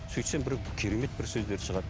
сөйтсем бір керемет бір сөздер шығады